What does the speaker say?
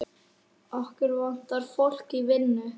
Okkur vantar fólk í vinnu.